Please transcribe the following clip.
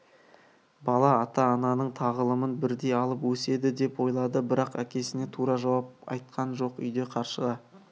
бала ата-ананың тағылымын бірдей алып өседі деп ойлады бірақ әкесіне тура жауап айтқан жоқ үйде қаршыға